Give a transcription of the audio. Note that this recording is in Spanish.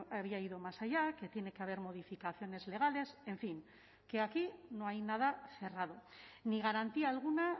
había ido más allá que tiene que haber modificaciones legales en fin que aquí no hay nada cerrado ni garantía alguna